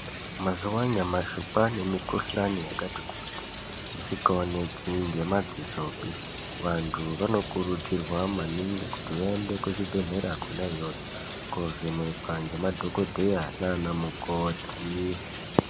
Mazuwanyamashe kwanemikhuhlane yakati kuti, isingawoneki ngemadzisope. Vantu vanokurudzirwa maningi kuti vayende kuzvibhedhlera khona yoyo, kovhenekwa ngemadhokodheya nanamukoti.